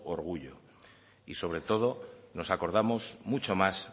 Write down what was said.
orgullo y sobre todo nos acordamos mucho más